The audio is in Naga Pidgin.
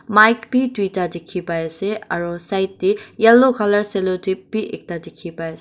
mic bi duita dikhi pai ase aru side tey yellow colour celotap bi ekta dikhi pai ase.